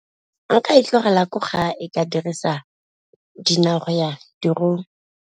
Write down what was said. Nka e tlogela ko gae ka dirisa dinao go ya tirong.